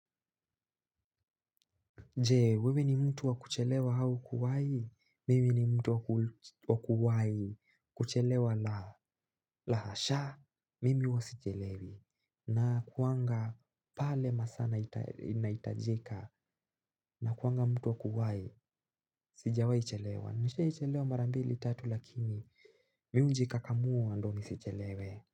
Jee, wewe ni mtu wa kuchelewa au kuwai? Mimi ni mtu wa kuwai? Kuchelewa la hasha? Mimi huwa sichelewi. Na kuanga pale masaa nahitajika? Na kuanga mtu wa kuwaii? Sijawai chelewa. Nishai chelewa marambili tatu lakini, mimi huji kakamua ndio ni sichelewe.